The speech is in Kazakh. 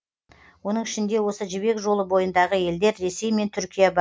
оның ішінде осы жібек жолы бойындағы елдер ресей мен түркия бар